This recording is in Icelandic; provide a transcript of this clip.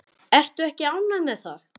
Ertu ekki ánægð með það?